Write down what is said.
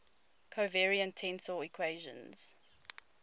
covariant tensor equations